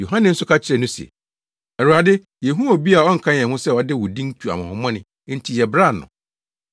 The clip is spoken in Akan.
Yohane nso ka kyerɛɛ no se, “Awurade, yehuu obi a ɔnka yɛn ho sɛ ɔde wo din tu ahonhommɔne enti yɛbraa no.”